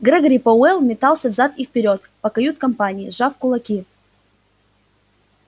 грегори пауэлл метался взад и вперёд по кают-компании сжав кулаки